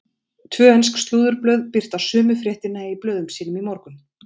Tvö ensk slúðurblöð birta sömu fréttina í blöðum sínum í morgun.